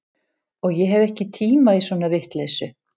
Og ég hef ekki tíma í svona vitleysu